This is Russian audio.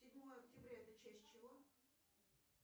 седьмое октября это часть чего